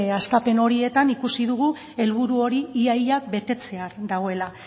hastapen horietan ikusi dugu helburu hori ia ia betetzear dagoela